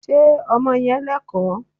Ṣé ọmọ yẹn Lẹ́kọ̀ọ́?